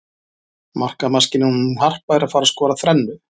Markamaskínan hún Harpa er að fara skora þrennu.